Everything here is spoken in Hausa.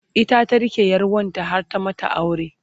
ita ta rike ƴar wanta har ta mata aure